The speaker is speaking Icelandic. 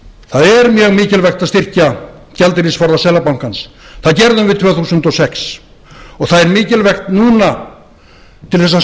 það er mjög mikilvægt að styrkja gjaldeyrisforða seðlabankans það gerðum við tvö þúsund og sex og það er mikilvægt núna til þess